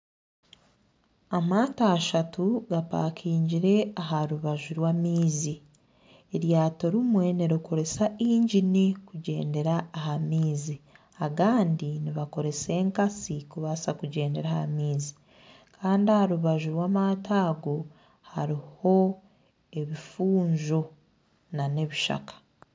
Amaato ashatu gapaakingire aha rubaju rw'amaizi. Eryato rimwe nirikoresa engini kugyendera aha maizi. Agandi nigakoresa enkasi kubaasa kugyendera aha maizi. Kandi aha rubaju rw'amato ago hariho ebifunjo n'ebishaka.